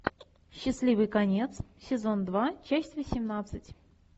счастливый конец сезон два часть восемнадцать